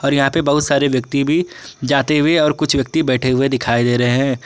और यहां पे बहुत सारे व्यक्ति भी जाते हुए और कुछ व्यक्ति बैठे हुए दिखाई दे रहे हैं।